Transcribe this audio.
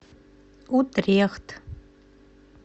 утрехт